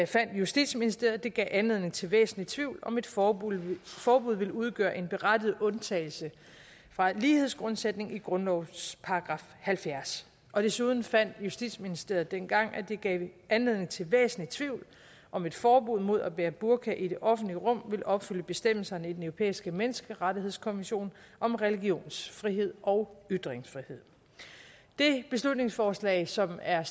fandt justitsministeriet at det gav anledning til væsentlig tvivl om et forbud forbud ville udgøre en berettiget undtagelse fra lighedsgrundsætningen i grundlovens § halvfjerds desuden fandt justitsministeriet dengang at det gav anledning til væsentlig tvivl om et forbud mod at bære burka i det offentlige rum ville opfylde bestemmelserne i den europæiske menneskerettighedskonvention om religionsfrihed og ytringsfrihed det beslutningsforslag som er